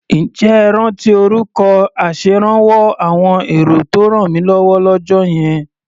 Ǹjẹ́ ẹ rántí orúkọ aṣèrànwọ́ àwọn èrò tó rànmílọ́wọ́ lọ́jọ́ yẹn?